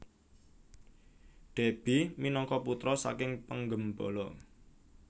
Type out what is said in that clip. Déby minangka putra saking penggembala